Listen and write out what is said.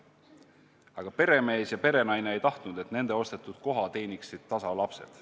Aga peremees ja perenaine ei tahtnud, et nende ostetud koha teeniksid tasa lapsed.